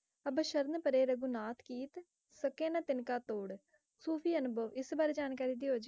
ਅਬ ਸ਼ਰਣ ਪਰੇ ਰਘੁਨਾਥ ਕੀਤ, ਸਕਹਿ ਨ ਤਿਨਕਾ ਤੋੜ, ਸੂਫ਼ੀ ਅਨੁਭਵ, ਇਸ ਬਾਰੇ ਜਾਣਕਾਰੀ ਦਿਓ,